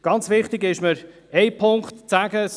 Ganz wichtig ist mir ein Punkt.